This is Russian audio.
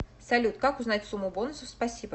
салют как узнать сумму бонусов спасибо